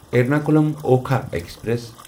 Ernakulam Okha express